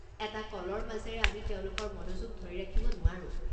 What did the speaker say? এটা কলৰ মাজেৰে আমি তেওঁলোকৰ মনোযোগ ধৰি ৰাখিব নোৱাৰোঁ।